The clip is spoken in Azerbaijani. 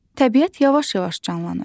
Təbiət yavaş-yavaş canlanır.